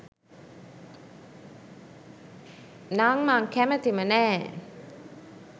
නං මං කැමතිම නෑ.